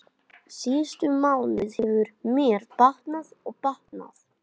Síðustu mánuði hefur mér batnað og batnað.